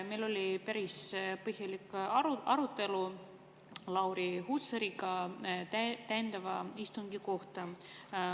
Meil oli päris põhjalik arutelu Lauri Hussariga täiendava istungi üle.